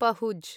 पहुज्